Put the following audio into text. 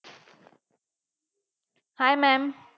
Hi maam.